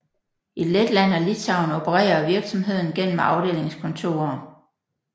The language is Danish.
I Letland og Litauen opererer virksomheden gennem afdelingskontorer